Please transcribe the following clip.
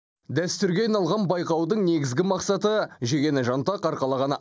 дәстүрге айналған байқаудың негізгі мақсаты жегені жаңтақ арқалағаны